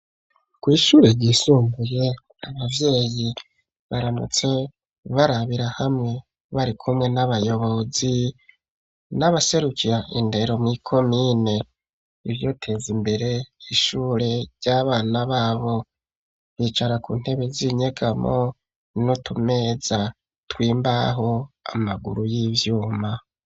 Kw'ishure ryisumbuye abavyeyi baramutse barabira hamwe bari kumwe n'abayobozi n'abaserukiya indero mw'ikomine ivyoteza imbere ishure ry'abana babo bicara ku ntebe zinyegamo inutumeza twimbaho y'ivyuma.